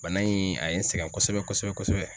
Bana in a ye n sɛgɛn kosɛbɛ kosɛbɛ kosɛbɛ.